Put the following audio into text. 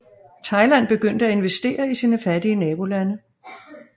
Thailand begyndte at investere i sine fattige nabolande